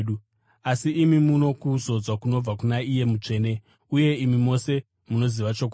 Asi imi muno kuzodzwa kunobva kuna Iye Mutsvene, uye imi mose munoziva chokwadi.